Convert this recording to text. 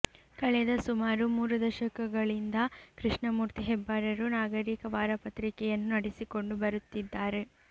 ಕಳೆದ ಸುಮಾರು ಮೂರು ದಶಕಗಳಿಂದ ಕೃಷ್ಣಮೂರ್ತಿ ಹೆಬ್ಬಾರರು ನಾಗರೀಕ ವಾರಪತ್ರಿಕೆಯನ್ನು ನಡೆಸಿಕೊಂಡು ಬರುತ್ತಿದ್ದಾರೆ